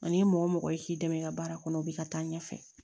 Ani mɔgɔ mɔgɔ i k'i dɛmɛ i ka baara kɔnɔ u bɛ ka taa ɲɛfɛ